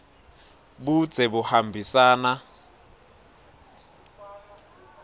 budze buhambisana